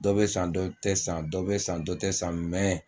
Dɔ bɛ san dɔ tɛ san dɔ bɛ san dɔ tɛ san